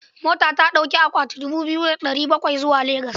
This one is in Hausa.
Mota ta ɗauki awaki dubu biyu da ɗari bakwai zuwa Legas.